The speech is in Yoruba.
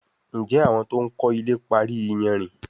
Njé àwọn to'n kò ilè parí iyanrìn?